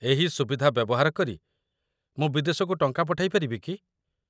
ଏହି ସୁବିଧା ବ୍ୟବହାର କରି ମୁଁ ବିଦେଶକୁ ଟଙ୍କା ପଠାଇ ପାରିବି କି?